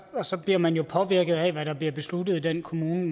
og så bliver man påvirket af hvad der bliver besluttet i den kommune